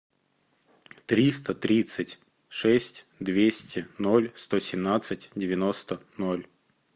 триста тридцать шесть двести ноль сто семнадцать девяносто ноль